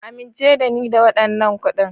Amince da ni da waɗannan kuɗin.